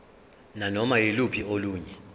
nanoma yiluphi olunye